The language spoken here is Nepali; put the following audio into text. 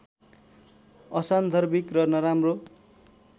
असान्दर्भिक र नराम्रो